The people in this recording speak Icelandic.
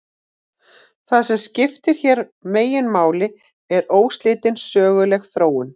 Það sem skiptir hér meginmáli er óslitin söguleg þróun.